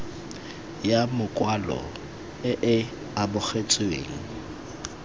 ya makwalo e e amogetsweng